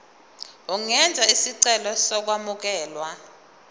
ungenza isicelo sokwamukelwa